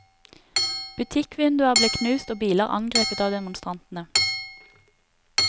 Butikkvinduer ble knust og biler angrepet av demonstrantene.